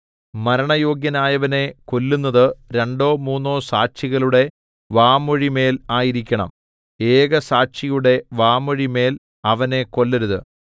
മരണയോഗ്യനായവനെ കൊല്ലുന്നത് രണ്ടോ മൂന്നോ സാക്ഷികളുടെ വാമൊഴിമേൽ ആയിരിക്കണം ഏകസാക്ഷിയുടെ വാമൊഴിമേൽ അവനെ കൊല്ലരുത്